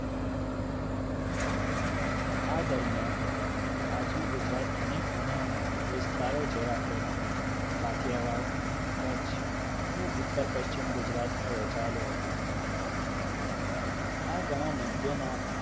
આ દરમિયાન આજનો ગુજરાત અનેક નાના-નાના વિસ્તારો જેવા કે કાઠીયાવાડ કચ્છ અને ઉત્તર પશ્ચિમ ગુજરાતમાં આવેલું હતું આ ઘણા મધ્યના